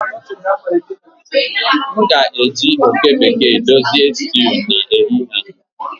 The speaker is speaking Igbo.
M ga-eji oke bekee dozie stew n'ehihie a